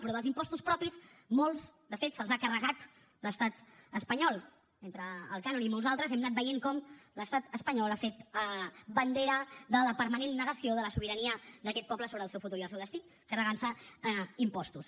però dels impostos propis molts de fet se’ls ha carregat l’estat espanyol entre el cànon i molts altres hem anat veient com l’estat espanyol ha fet bandera de la permanent negació de la sobirania d’aquest poble sobre el seu futur i el seu destí carregant se impostos